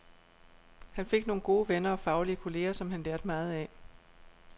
Han fik nogle gode venner og faglige kolleger, som han lærte meget af.